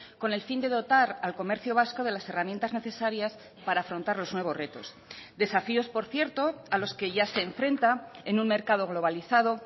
con el fin de dotar al comercio vasco de las herramientas necesarias para afrontar los nuevos retos desafíos por cierto a los que ya se enfrenta en un mercado globalizado